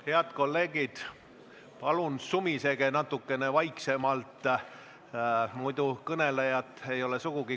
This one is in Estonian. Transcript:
Head kolleegid, palun sumisege natukene vaiksemalt, muidu ei ole kõnelejat sugugi kuulda!